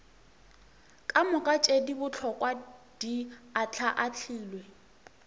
kamoka tše bohlokwa di ahlaahlilwe